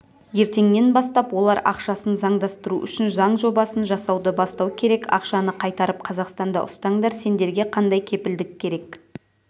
ертеңнен бастап олар ақшасын заңдастыру үшін заң жобасын жасауды бастау керек ақшаны қайтарып қазақстанда ұстаңдар сендерге қандай кепілдік керек